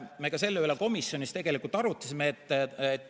Selle üle me ka komisjonis arutasime.